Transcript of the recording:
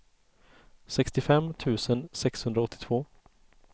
sextiofem tusen sexhundraåttiotvå